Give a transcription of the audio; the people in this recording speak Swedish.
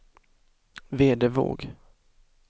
Vedevåg